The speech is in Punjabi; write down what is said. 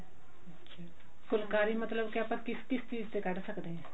ਫੁਲਕਾਰੀ ਮਤਲਬ ਕਿ ਆਪਾਂ ਕਿਸ ਕਿਸ ਚੀਜ਼ ਤੇ ਕੱਢ ਸਕਦੇ ਹਾਂ